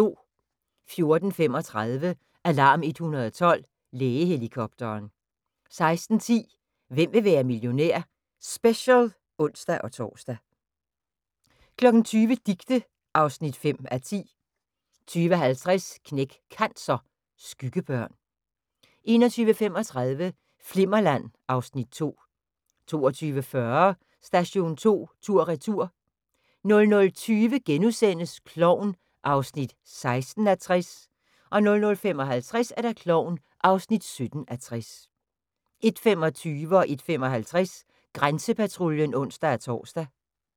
14:35: Alarm 112 - Lægehelikopteren 16:10: Hvem vil være millionær? Special (ons-tor) 20:00: Dicte (5:10) 20:50: Knæk Cancer: Skyggebørn 21:35: Flimmerland (Afs. 2) 22:40: Station 2 tur/retur 00:20: Klovn (16:60)* 00:55: Klovn (17:60) 01:25: Grænsepatruljen (ons-tor) 01:55: Grænsepatruljen (ons-tor)